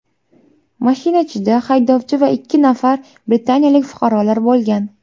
Mashina ichida haydovchi va ikki nafar britaniyalik fuqarolar bo‘lgan.